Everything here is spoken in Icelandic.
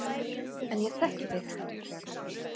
En ég þekki þig.